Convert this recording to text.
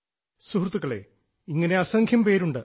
സുഹൃത്തുക്കളേ ഇങ്ങനെ അസംഖ്യം പേരുണ്ട്